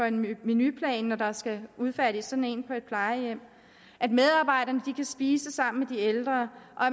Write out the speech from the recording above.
en menuplan når der skal udfærdiges sådan en på et plejehjem at medarbejderne kan spise sammen med de ældre og